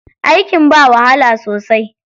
Aikin ba wahala sosai.